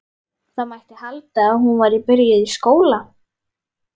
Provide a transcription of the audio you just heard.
Það mætti halda að hún væri byrjuð í skóla.